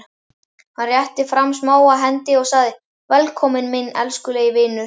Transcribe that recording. Hann rétti fram smáa hendi og sagði: Velkominn minn elskulegi vinur.